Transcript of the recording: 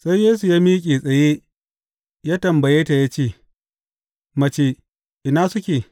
Sai Yesu ya miƙe tsaye ya tambaye ta ya ce, Mace, ina suke?